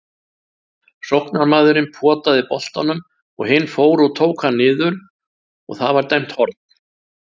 Sóknarmaðurinn potaði boltanum og hinn fór og tók hann niður og það var dæmt horn.